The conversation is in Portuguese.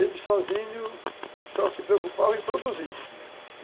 Eles sozinhos só se preocupavam em produzir, uhum